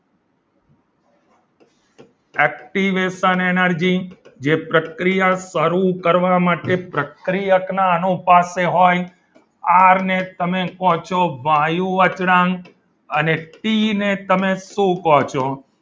Activation energy જે પ્રક્રિયા શરૂ કરવા માટે પ્રક્રિયકના અનુસાથે હોય આર ને તમે કહો છો વાયુ અચળાંક અને ટી ને તમે શું કહો છો?